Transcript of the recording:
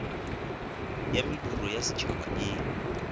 ya mediro ya setšhaba e